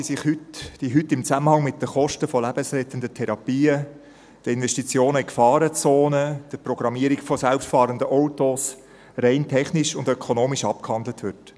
– Eine Frage, die heute im Zusammenhang mit den Kosten lebensrettender Therapien, den Investitionen in Gefahrenzonen oder der Programmierung selbstfahrender Autos rein technisch und ökonomisch abgehandelt wird.